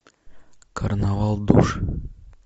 карнавал душ